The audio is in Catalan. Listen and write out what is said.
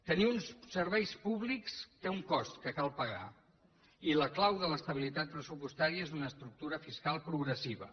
tenir uns serveis públics té un cost que cal pagar i la clau de l’estabilitat pressupostària és una estructura fiscal progressiva